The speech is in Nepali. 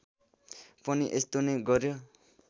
पनि यस्तो नै गर्‍यो